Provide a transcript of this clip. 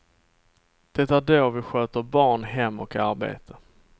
Det är då vi sköter barn, hem och arbete.